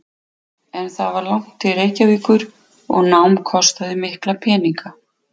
En það var langt til Reykjavíkur og nám kostaði mikla peninga.